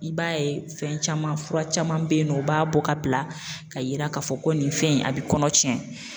I b'a ye fɛn caman, fura caman be yen nɔ u b'a bɔ ka bila ka yira ka fɔ ko nin fɛn in a bi kɔnɔ tiɲɛ.